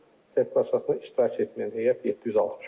Sertifikatlaşdırmada iştirak etməyən heyət 765-dir.